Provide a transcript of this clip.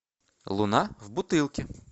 луна в бутылке